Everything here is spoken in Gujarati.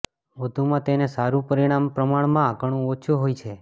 વધુમાં તેનુ સારું પરિણામ પ્રમાણમાં ઘણું ઓછું હોય છે